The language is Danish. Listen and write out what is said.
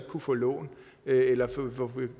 kunne få lån eller de